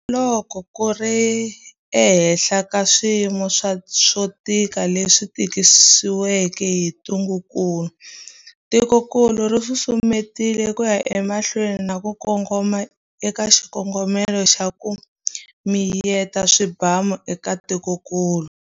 Na loko ku ri ehansi ka swiyimo swo tika leswi tisiweke hi ntungukulu, tikokulu ri susumetile ku ya emahlweni na ku kongoma eka xikongomelo xa 'ku miyeta swibamu' eka tikokulu.